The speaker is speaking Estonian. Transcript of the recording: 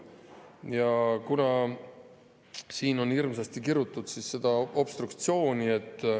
Siin on hirmsasti kirutud obstruktsiooni.